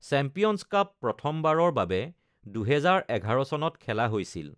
Champions cup প্ৰথমবাৰৰ বাবে ২০১১ চনত খেলা হৈছিল।